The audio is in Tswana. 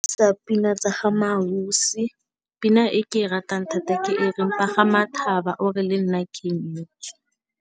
Sa pina tsa ga Mmaausi pina e ke e ratang thata ke e reng pagama thaba ore le nna ke nyetswe.